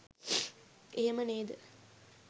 එහෙම නේද?